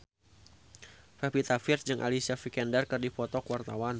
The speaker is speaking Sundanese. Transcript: Pevita Pearce jeung Alicia Vikander keur dipoto ku wartawan